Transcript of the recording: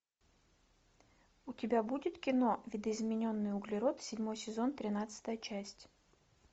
у тебя будет кино видоизмененный углерод седьмой сезон тринадцатая часть